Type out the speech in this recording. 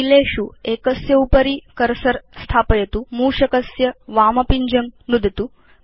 कीलेषु एकस्य उपरि कर्सर स्थापयतु मूषकस्य वामपिञ्जं च नुदतु